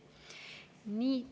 Nii.